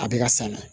A bɛ ka san